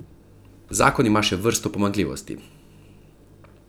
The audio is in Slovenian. Zakon ima še vrsto pomanjkljivosti.